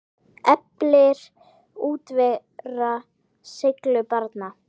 Eflir útivera seiglu barna?